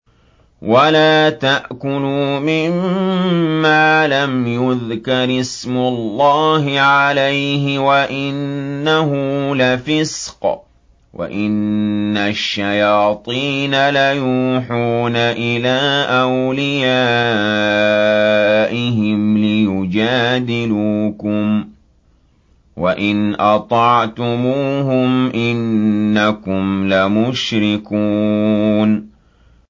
وَلَا تَأْكُلُوا مِمَّا لَمْ يُذْكَرِ اسْمُ اللَّهِ عَلَيْهِ وَإِنَّهُ لَفِسْقٌ ۗ وَإِنَّ الشَّيَاطِينَ لَيُوحُونَ إِلَىٰ أَوْلِيَائِهِمْ لِيُجَادِلُوكُمْ ۖ وَإِنْ أَطَعْتُمُوهُمْ إِنَّكُمْ لَمُشْرِكُونَ